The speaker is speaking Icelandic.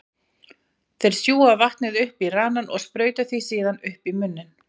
Þeir sjúga vatnið upp í ranann og sprauta því síðan upp í munninn.